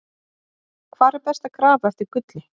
Hvar er best að grafa eftir gulli?